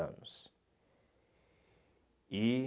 anos. E